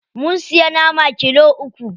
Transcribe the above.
Mun siya nama kilo uku.